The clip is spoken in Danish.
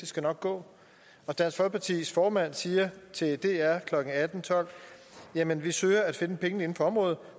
skal gå dansk folkepartis formand siger til dr klokken atten tolv jamen vi søger at finde pengene inden for området